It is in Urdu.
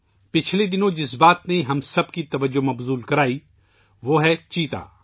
پچھلے کچھ دنوں میں ، جس چیز نے ہماری توجہ اپنی طرف کھینچی ہے ، وہ ہے چیتا